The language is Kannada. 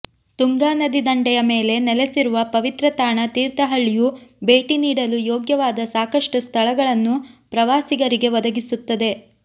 ತುಂಗಾ ನದಿ ದಂಡೆಯ ಮೇಲೆ ನೆಲೆಸಿರುವ ಪವಿತ್ರ ತಾಣ ತೀರ್ಥಹಳ್ಳಿಯು ಭೇಟಿ ನೀಡಲು ಯೋಗ್ಯವಾದ ಸಾಕಷ್ಟು ಸ್ಥಳಗಳನ್ನು ಪ್ರವಾಸಿಗರಿಗೆ ಒದಗಿಸುತ್ತದೆ